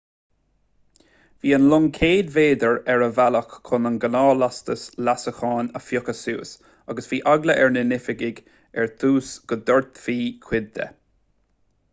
bhí an long 100 méadar ar a bhealach chun a ghnáthlastas leasacháin a phiocadh suas agus bhí eagla ar na hoifigigh ar dtús go ndoirtfí cuid de